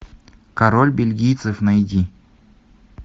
король бельгийцев найди